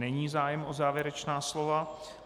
Není zájem o závěrečná slova.